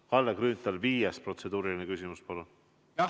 Kalle Grünthal, viies protseduuriline küsimus, palun!